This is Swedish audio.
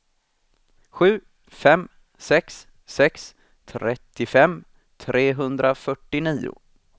sju fem sex sex trettiofem trehundrafyrtionio